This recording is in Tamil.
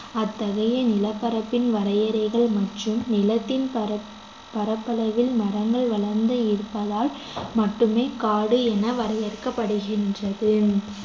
அத்தகைய நிலப்பரப்பின் வரையறைகள் மற்றும் நிலத்தின் பரப்~ பரப்பளவில் மரங்கள் வளர்ந்து இருப்பதால் மட்டுமே காடு என வரையறுக்கப்படுகின்றது